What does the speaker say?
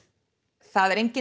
það er enginn